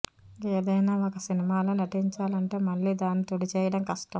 ఏదైనా ఒక సినిమాలో నటించాలంటే మళ్ళీ దాన్ని తుడిచేయడం కష్టం